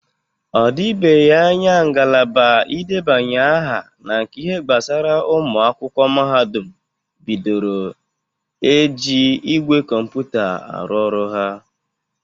Ọ dibeghi anya ngalaba idebanye aha na nke ihe gbasara ụmụ akwụkwọ mahadụm bidoro na-eji igwe kọmputa arụ ọrụ ha.